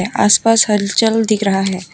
आस पास हलचल दिख रहा है।